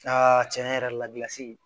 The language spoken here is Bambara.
tiɲɛ yɛrɛ la